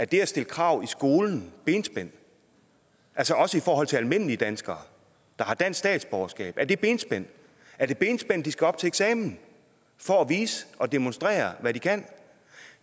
det at stille krav i skolen benspænd altså også i forhold til almindelige danskere der har dansk statsborgerskab er det benspænd er det benspænd at de skal op til eksamen for at vise og demonstrere hvad de kan